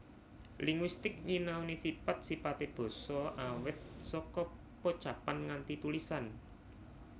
Linguistik nyinaoni sipat sipate basa awit saka pocapan nganti tulisan